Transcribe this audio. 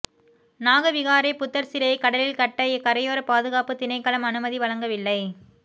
நாகவிகாரை புத்தர் சிலையை கடலில் கட்ட கரையோர பாதுகாப்பு திணைக்களம் அனுமதி வழங்கவில்லை